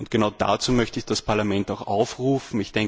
Genau dazu möchte ich das Parlament auch aufrufen.